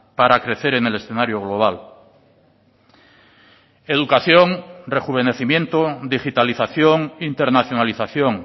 para crecer en el escenario global educación rejuvenecimiento digitalización internacionalización